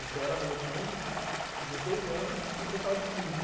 Você era adolescente, dezesseis anos, e o pessoal de quinze.